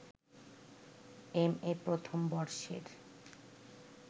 MA প্রথম বর্ষের